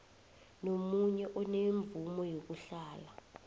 nomunye onemvumo yokuhlala